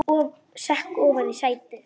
Sekk ofan í sætið.